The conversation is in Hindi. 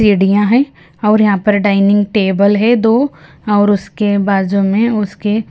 सीढ़ियाँ हैं और यहाँ पर डाइनिंग टेबल है दो और उसके बाजू में उसके--